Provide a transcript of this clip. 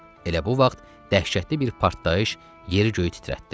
Elə bu vaxt dəhşətli bir partlayış yeri göyü titrətdi.